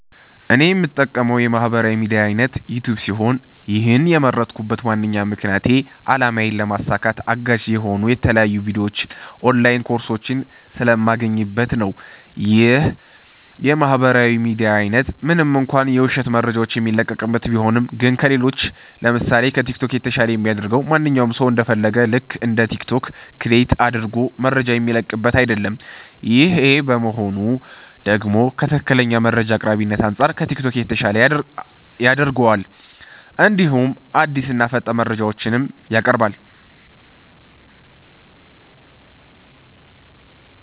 እኔ የምጠቀመዉ የማህበራዊ ሚድያ አይነት ዩቲዩብ ሲሆን ይህን የመረጥኩበት ዋነኛ ምክንያቴ አላማዬን ለማሳካት አጋዥ የሆኑ የተለያዩ ቪዲዮዎች ኦንላይን ኮርሶች ስለማገኝበት ነዉ። ይህ የማህበራዊ ሚዲያ አይነት ምንም እንኳ የዉሸት መረጃዎች የሚለቀቅበት ቢሆንም ግን ከሌሎች ለምሳሴ፦ ከቲክቶክ የተሻለ የሚያደርገዉ ማንኛዉም ሰዉ እንደ ፈለገዉ ልክ እንደ ቲክቶክ ክሬት አድርጎ መረጃ የሚለቅበት አይደለም ይሄ መሆኑ ደግሞ ከትክክለኛ መረጃ አቅራቢነት አንፃር ከቲክቶክ የተሻለ ያደርገዋል እንዲሁም አዲስና ፈጣን መረጃዎችንም ያቀርባል።